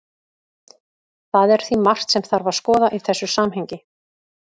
Það er því margt sem þarf að skoða í þessu samhengi.